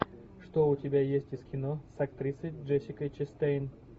что у тебя есть из кино с актрисой джессикой честейн